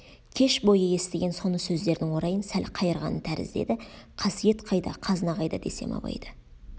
кеш бойы естіген соны сөздердің орайын сәл қайырғаны тәрізді еді қасиет қайда қазына қайда десем абайда